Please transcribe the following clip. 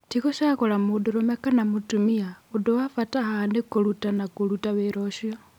" Ti gũcagũra mũndũrũme kana mũtumia, ũndũ wa bata haha nĩ kũrũtana kũruta wĩra ũcio.